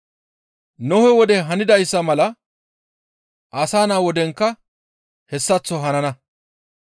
«Nohe wode hanidayssa mala Asa Naa wodenkka hessaththo hanana.